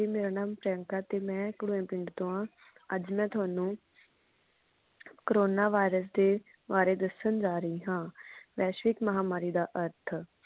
ਮੇਰਾ ਨਾਂ ਪ੍ਰਿਯੰਕਾ ਤੇ ਮੈਂ ਖਾਡੂਏ ਪਿੰਡ ਤੋਂ ਹਾਂ। ਅੱਜ ਮੈਂ ਥੋਨੂੰ corona virus ਦੇ ਬਾਰੇ ਦਸ਼ਨ ਜਾ ਰਹੀ ਆ ਵੈਸ਼ਵਿਕ ਮਹਾਮਾਰੀ ਦਾ ਅਰਥ।